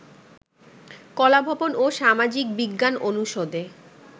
কলাভবন ও সামাজিক বিজ্ঞান অনুষদে